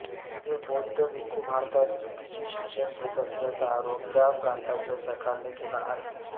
हे बौद्ध भिक्खू भारतात चुकीचे शिक्षण घेत असल्याचा आरोप त्या प्रांताच्या सरकारने केला आहे